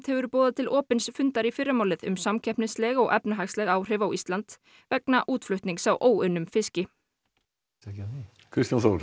hefur boðað til opins fundar í fyrramálið um samkeppnisleg og efnahagsleg áhrif á Ísland vegna útflutnings á óunnum fiski Kristján Þór